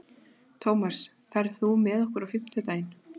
Tómas, ferð þú með okkur á fimmtudaginn?